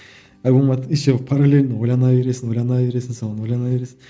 альбомның атын еще паралельно ойлана бересің ойлана бересің сол ойлана бересің